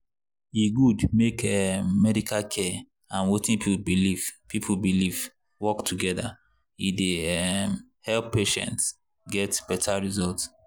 e good make um medical care and wetin people believe people believe work together e dey um help patients get better result.